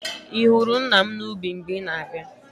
Ị hụrụ nna m n'ubi mgbe ị na-abịa?